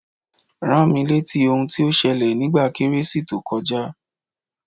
Rámi rétí ohun tí ó ṣẹlẹ̀ nígbà kérésì tó kọjá